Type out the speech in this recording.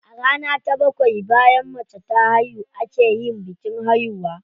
A rana ta bakwai bayan mace ta haihu a ke yin bikin haihuwa.